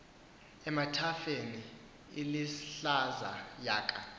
emathafeni ilahlaza yaka